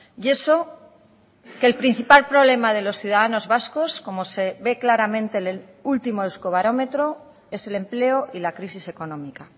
y eso que el principal problema de los ciudadanos vascos como se ve claramente en el último euskobarometro es el empleo y la crisis económica